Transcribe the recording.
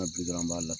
An bi dɔrɔn an b'a la